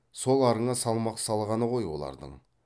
сол арыңа салмақ салғаны ғой олардың